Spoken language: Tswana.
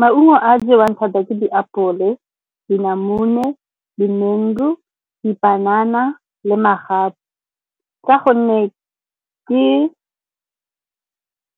Maungo a jewang thata ke diapole le dinamune, di-mango, dipanana le magapu ka gonne ke